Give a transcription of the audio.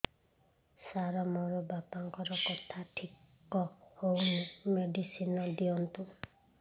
ସାର ମୋର ବାପାଙ୍କର କଥା ଠିକ ହଉନି ମେଡିସିନ ଦିଅନ୍ତୁ